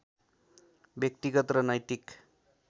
व्यक्तिगत र नैतिक